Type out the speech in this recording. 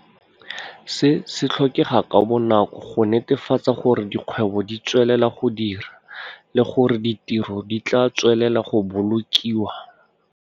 Se se tlhokega ka bonako go netefatsa gore dikgwebo di tswelela go dira le gore ditiro di tla tswelela go bolokiwa.